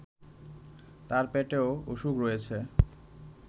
তার পেটেও অসুখ রয়েছে